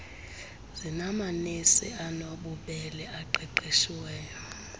zinamanesi anobubele aqeqesiweyo